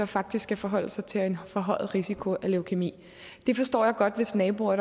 faktisk skal forholde sig til en forhøjet risiko for leukæmi det forstår jeg godt hvis naboer